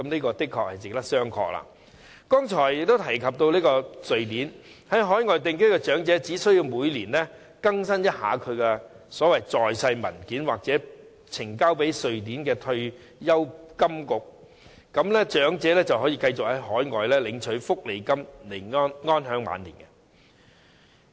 在我剛才提到的瑞典，其在海外定居的長者只須每年更新他的"在世證明文件"，並呈交予瑞典退休金局，便可以繼續在海外領取福利金安享晚年。